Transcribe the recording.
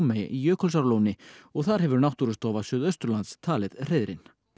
í Jökulsárlóni og þar hefur Náttúrustofa Suðausturlands talið hreiðrin